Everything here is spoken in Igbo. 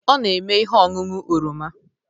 Ọ na-eme ihe ọñụñụ oroma.